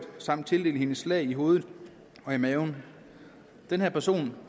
samt tildelt hende slag i hovedet og i maven den her person